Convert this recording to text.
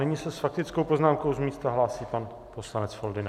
Nyní se s faktickou poznámkou z místa hlásí pan poslanec Foldyna.